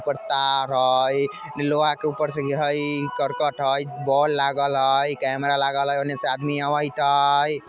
ऊपर तार हइ निलवा के ऊपर से हइ करकट हइ वोल लागइल हइ कैमरा लागइल हइ सामने से आबत ह।